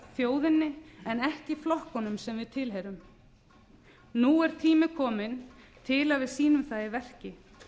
þjóðinni en ekki flokkunum sem við tilheyrum nú er tími kominn til að við sýnum það í verki